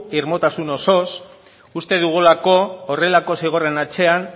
irmotasun osoz uste dugulako horrelako zigorren atzean